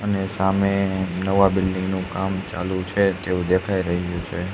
અને સામે નવા બિલ્ડીંગ નું કામ ચાલુ છે તેવું દેખાય રહ્યું છે.